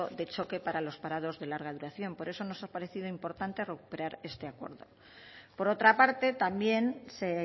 de choque para los parados de larga duración por eso nos ha parecido importante recuperar este acuerdo por otra parte también se